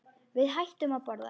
Við hættum að borða.